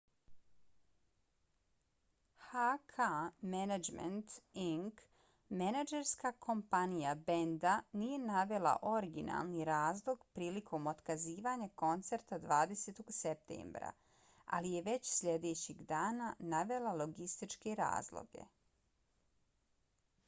hk management inc. menadžerska kompanija benda nije navela originalni razlog prilikom otkazivanja koncerta 20. septembra ali je već sljedećeg dana navela logističke razloge